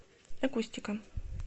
акустика